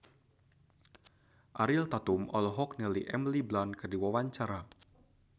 Ariel Tatum olohok ningali Emily Blunt keur diwawancara